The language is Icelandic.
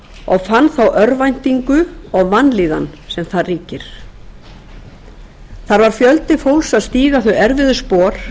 og fann þá örvæntingu og vanlíðan sem þar ríkir þar var fjöldi fólks að stíga þau erfiðu spor